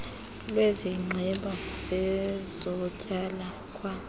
lwesigqeba sezotywala kwa